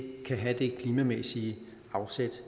have det klimamæssige afsæt